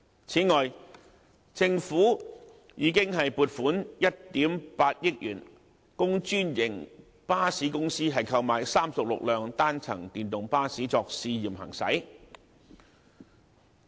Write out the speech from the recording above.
此外，政府已經撥款1億 8,000 萬元供專營巴士公司購買36輛單層電動巴士作試驗行駛。